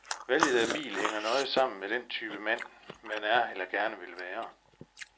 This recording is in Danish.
Valget af bil hænger nøje sammen med den type mand, man er eller gerne vil være.